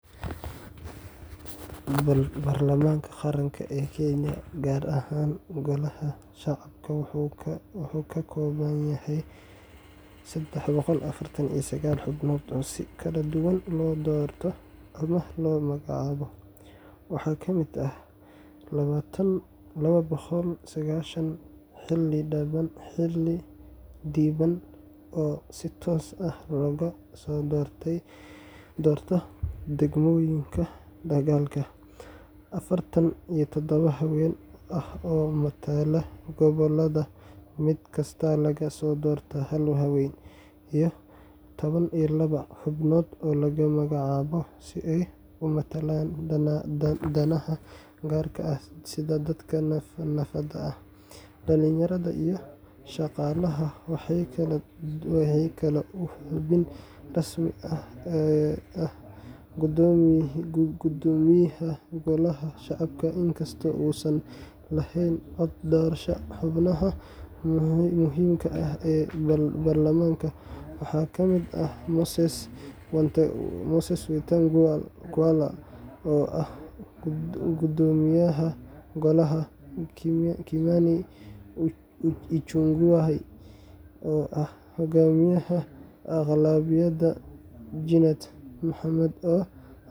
Baarlamaanka Qaranka ee Kenya, gaar ahaan Golaha Shacabka, wuxuu ka kooban yahay sedex boqol afartan iyo sagal xubnood oo si kala duwan loo doorto ama loo magacaabo. Waxaa ka mid ah laba boqol iyo sagashan xildhibaan oo si toos ah looga soo doorto degmooyinka dalka, afartan iyo todoba haween ah oo matala gobollada mid kasta laga soo doorto hal haweeney, iyo laba iyo toban xubnood oo la magacaabo si ay u matalaan danaha gaarka ah sida dadka naafada ah, dhalinyarada, iyo shaqaalaha. Waxaa kale oo xubin rasmi ah ah Guddoomiyaha Golaha Shacabka, inkastoo uusan lahayn cod doorasho. Xubnaha muhiimka ah ee baarlamaanka waxaa ka mid ah Moses Wetang’ula oo ah Guddoomiyaha Golaha, Kimani Ichung’wah oo ah Hogaamiyaha Aqlabiyadda, Junet Mohamed oo.